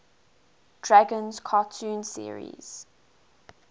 dragons cartoon series